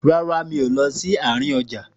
Rárá, mi ò lọ sí àárín ọjà